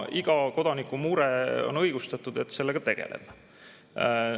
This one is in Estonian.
Iga kodaniku mure on õigustatud, et sellega tegeleda.